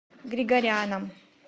григоряном